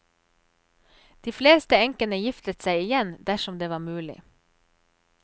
De fleste enkene giftet seg igjen dersom det var mulig.